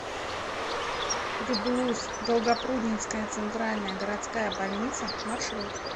гбуз долгопрудненская центральная городская больница маршрут